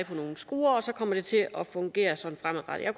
på nogle skruer og så kommer det til at fungere sådan fremadrettet jeg